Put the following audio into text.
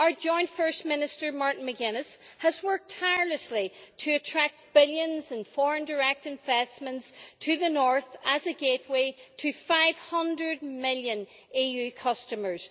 Our joint First Minister, Martin McGuinness, has worked tirelessly to attract billions in foreign direct investments to the north as a gateway to 500 million EU customers.